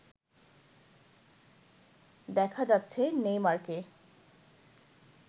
দেখা যাচ্ছে নেইমারকে